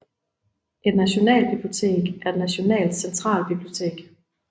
Et nationalbibliotek er et nationalt centralbibliotek